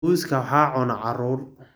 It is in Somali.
Muuska waxaa cuna caruur.